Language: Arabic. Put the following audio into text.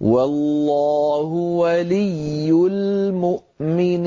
وَاللَّهُ وَلِيُّ الْمُؤْمِنِينَ